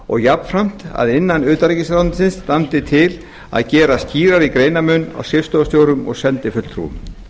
og jafnframt að innan utanríkisráðuneytisins standi til að gera skýrari greinarmun á skrifstofustjórum og sendifulltrúum